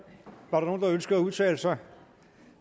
var der nogen der ønskede at udtale sig